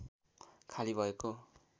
खाली भएको